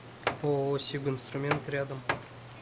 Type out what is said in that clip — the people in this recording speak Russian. ооо сибинструмент рядом